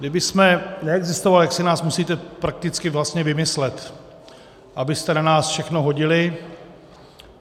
Kdybychom neexistovali, tak si nás musíte prakticky vlastně vymyslet, abyste na nás všechno hodili.